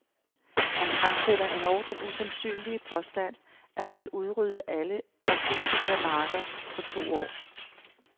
Han fremsætter endog den usandsynlige påstand, at han vil udrydde alle narkotikamarker på to år.